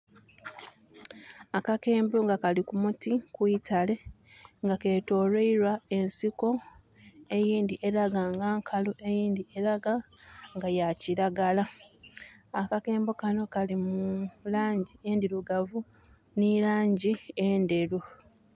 Akakembo nga kali ku muti, ku itale nga ketoloirwa ensiko, eyindhi elaga nga nkalu, eyindhi elaga nga ya kiragala. Akakembo kano kali mu laangi endhirugavu nhi laangi endheru.